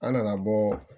An nana bɔ